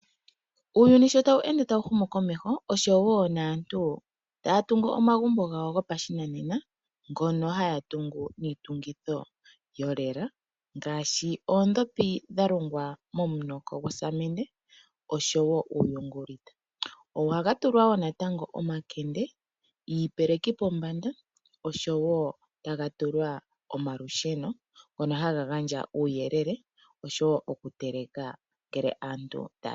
Uuyuni sho tawu ende tawu humu komeho oshowo aantu taya tungu omagumbo gawo gopashinanena ngono haya tungu niitungitho yolela ngaashi oondhopi dha lungwa momunoko gosamende oshowo uuyungulita. Ohaga tulwa wo natango omakende, iipeliki pombanda noshowo ohaga tulwa olusheno ngono haga gandja uuyelele, noshowo oku teleka ngele aantu taya teleke.